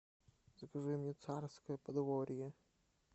закажи мне царское подворье